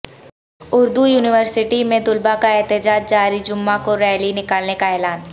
Urdu university میں طلبہ کا احتجاج جاری جمعہ کو ریلی نکالنے کا اعلان